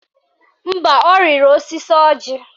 Mba, ọ rịrị osisi ọjị